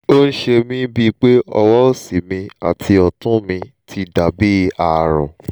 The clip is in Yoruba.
ó ń ṣe mí bíi pé ọwọ́ òsì mi àti ọ̀tún mi ti dà bí ààrùn